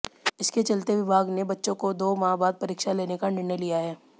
इसके चलते विभाग ने बच्चों को दो माह बाद परीक्षा लेने का निर्णय लिया है